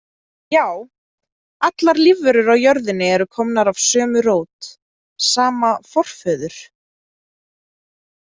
Já, allar lífverur á jörðinni eru komnar af sömu rót, sama „forföður.“